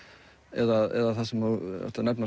eða það sem þú ert að nefna